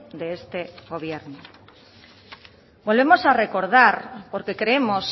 de este gobierno volvemos a recordar porque creemos